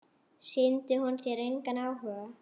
Sýndi hún þér engan áhuga?